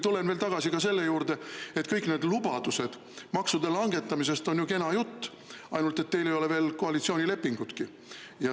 Tulen veel tagasi selle juurde, et kõik need lubadused makse langetada on ju kena jutt, ainult et teil ei ole veel koalitsioonilepingutki.